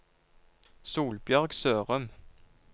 Solbjørg Sørum